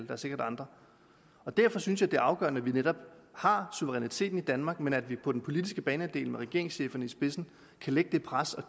er sikkert andre derfor synes jeg det er afgørende at vi netop har suveræniteten i danmark men at vi på den politiske banehalvdel med regeringscheferne i spidsen kan lægge det pres og